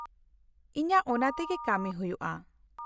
-ᱤᱧᱟᱹᱜ ᱚᱱᱟ ᱛᱮᱜᱮ ᱠᱟᱹᱢᱤ ᱦᱩᱭᱩᱜᱼᱟ ᱾